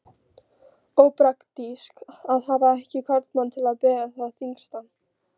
Ópraktískt að hafa ekki karlmann til að bera það þyngsta.